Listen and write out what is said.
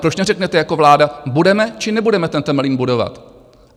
Proč neřeknete jako vláda - budeme či nebudeme ten Temelín budovat?